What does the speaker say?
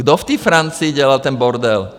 Kdo v té Francii dělal ten bordel?